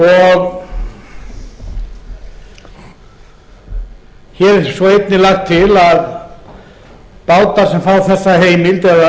fyrsta október hér er svo einnig lagt til að bátar sem fá þessa heimild eða